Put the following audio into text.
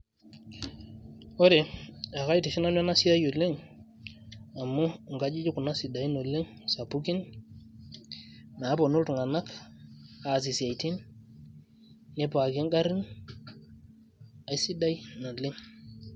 ore ekaitiship nanu ena siai oleng amu nkajijik kuna sidain oleng sapukin naaponu iltung'anak aasie isiaitin nipaaki ingarrin aisidai naleng.